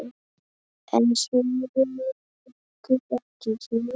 En sögunni lýkur ekki hér.